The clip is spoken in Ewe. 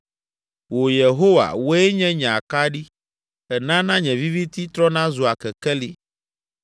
Wò, Yehowa, wòe nye nye akaɖi! Ènana nye viviti trɔna zua kekeli.